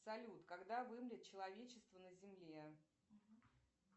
салют когда вымрет человечество на земле